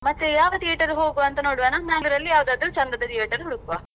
ಮತ್ತೇ ಯಾವ theater ಗೆ ಹೋಗುವಾಂತ ನೋಡುವನಾ Mangalore ಅಲ್ಲಿ ಯಾವುದಾದ್ರೂ ಚಂದದ theater ಹುಡುಕ್ವಾ.